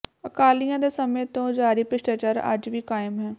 ਅਕਾਲੀਆਂ ਦੇ ਸਮੇਂ ਤੋਂ ਜਾਰੀ ਭ੍ਰਿਸ਼ਟਾਚਾਰ ਅੱਜ ਵੀ ਕਾਇਮ ਹੈ